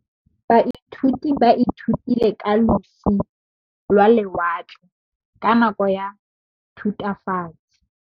Baithuti ba ithutile ka losi lwa lewatle ka nako ya Thutafatshe.